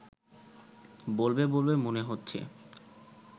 বলবে বলবে মনে হচ্ছে